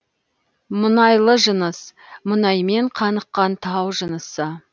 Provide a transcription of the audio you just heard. мұнайлы жыныс мұнаймен қаныққан тау жынысы